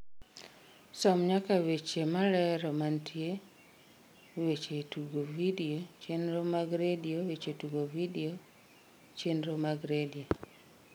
som nyaka weche malero mantie weche tugo vidio chenro mag redio weche tugo vidio chenro mag redio